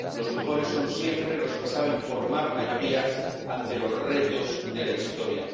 Los mejores son siempre los que saben formar mayorías ante los retos de la historia.